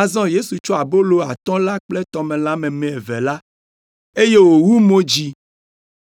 Azɔ Yesu tsɔ abolo atɔ̃ la kple tɔmelã meme eve la, eye wòwu mo dzi,